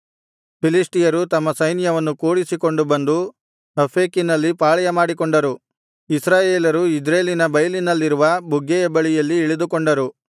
ಫಿಲಿಷ್ಟಿಯರು ತಮ್ಮ ಸೈನ್ಯವನ್ನು ಕೂಡಿಸಿಕೊಂಡು ಬಂದು ಅಫೇಕಿನಲ್ಲಿ ಪಾಳೆಯಮಾಡಿಕೊಂಡರು ಇಸ್ರಾಯೇಲರು ಇಜ್ರೇಲಿನ ಬೈಲಿನಲ್ಲಿರುವ ಬುಗ್ಗೆಯ ಬಳಿಯಲ್ಲಿ ಇಳಿದುಕೊಂಡರು